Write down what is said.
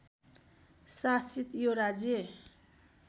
शासित यो राज्य